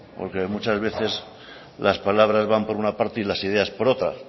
porque muchas veces las palabras van por una parte y las ideas por otra